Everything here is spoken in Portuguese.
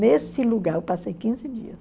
Nesse lugar, eu passei quinze dias.